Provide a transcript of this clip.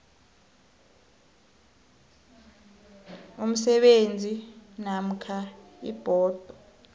umsebenzi namkha ibhodo